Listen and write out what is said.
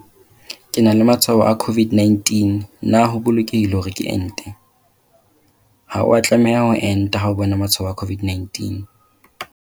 Potso- Ke na le matshwao a COVID-19 na ho bolokehile hore ke ente? Ha o a tlameha ho enta ha o bona matshwao a COVID-19.